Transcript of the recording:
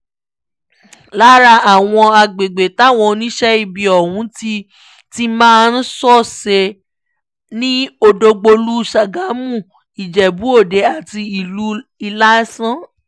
lára àwọn agbègbè táwọn oníṣẹ́ ibi ọ̀hún ti ti máa ń ṣọṣẹ́ ni ọ̀dọ́gbólú sàgámù ìjẹ́bú-òde àti ìlú ìlasàn